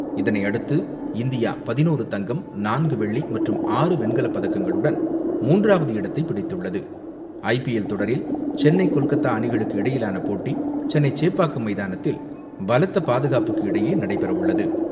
இதனையடுத்து இந்தியா பதினோறு தங்கம், நான்கு வெள்ளி மற்றும் ஆறு வெண்கலப்பதக்கங்களுடன் மூன்றாவது இடத்தை ஐ பி எல் தொடரில் சென்னை கொல்கத்தா அணிகளுக்கு இடையிலான போட்டி சென்னை சேப்பாக்கம் மைதானத்தில் பலத்த பாதுகாப்புக்கு இடையே நடைபெறவுள்ளது.